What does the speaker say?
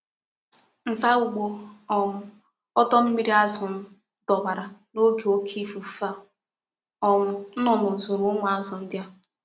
Nza ugbo um odo mmiri azu m dowara n'oge oke ikuku, e e um nnunu zuru umu azu ndi a.